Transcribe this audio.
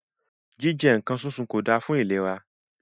Jíjẹ nǹkan súnsun kò da fún ìlera.